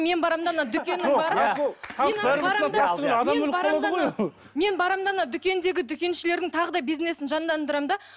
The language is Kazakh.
мен барамын да ана дүкеннен барып мен барамын да ана дүкендегі дүкеншілердің тағы да бизнесін жандандырамын да